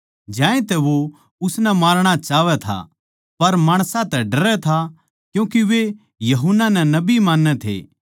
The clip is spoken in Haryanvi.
ज्यांतै वो उसनै मारणा चाहवै था पर माणसां तै डरै था क्यूँके वे यूहन्ना नै नबी मान्नै थे